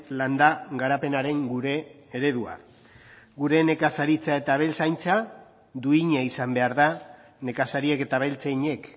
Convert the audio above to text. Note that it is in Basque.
landa garapenaren gure eredua gure nekazaritza eta abeltzaintza duina izan behar da nekazariek eta abeltzainek